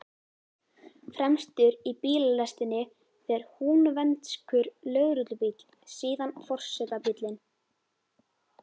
Fremstur í bílalestinni fer húnvetnskur lögreglubíll, síðan forsetabíllinn.